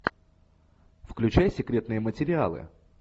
включай секретные материалы